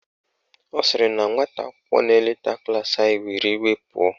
Ọ sịrị na nwata akwụkwọ na-eleta klaasị anyị were iwe pụọ.